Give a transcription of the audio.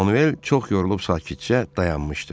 Manuel çox yorulub sakitcə dayanmışdı.